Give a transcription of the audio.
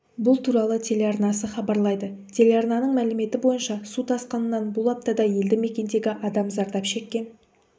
бұл туралы телеарнасы хабарлайды телеарнаның мәліметі бойынша су тасқынынан бұл аптада елді мекендегі адам зардап шеккен